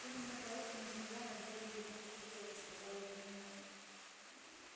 именно поэтому змея на гербе его факультета сказала гермиона